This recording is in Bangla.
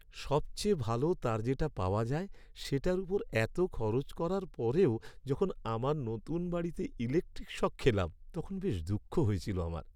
সবচেয়ে ভালো তার যেটা পাওয়া যায় সেটার ওপর এতো খরচ করার পরেও যখন আমার নতুন বাড়িতে ইলেকট্রিক শক খেলাম, তখন বেশ দুঃখ হয়েছিল আমার।